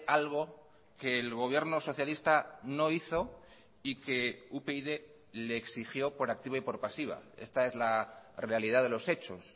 algo que el gobierno socialista no hizo y que upyd le exigió por activa y por pasiva esta es la realidad de los hechos